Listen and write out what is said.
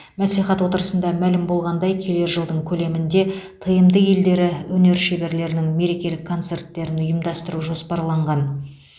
мәслихат отырысында мәлім болғандай келер жылдың көлемінде тмд елдері өнер шеберлерінің мерекелік концерттерін ұйымдастыру жоспарланған